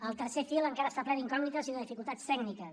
el tercer fil encara està ple d’incògnites i de dificultats tècniques